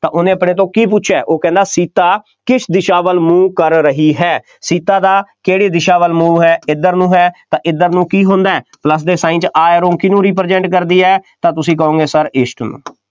ਤਾਂ ਉਹਨੇ ਆਪਣੇ ਤੋਂ ਕੀ ਪੁੱਛਿਆ, ਉਹ ਕਹਿੰਦਾ ਸੀਤਾ ਕਿਸ ਦਿਸ਼ਾ ਵੱਲ ਮੂੰਹ ਕਰ ਰਹੀ ਹੈ, ਸੀਤਾ ਦਾ ਕਿਹੜੀ ਦਿਸ਼ਾ ਵੱਲ ਮੂੰਹ ਹੈ, ਇੱਧਰ ਨੂੰ ਹੈ, ਤਾਂ ਇੱਧਰ ਨੂੰ ਕੀ ਹੁੰਦਾ plus ਦੇ sign 'ਚ ਕਿਹਨੂੰ represent ਕਰਦੀ ਹੈ, ਤਾਂ ਤੁਸੀਂ ਕਹੋਂਗੇ sir east ਨੂੰ,